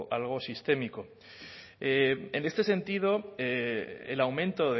algo sistémico en este sentido el aumento